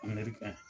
ka ɲi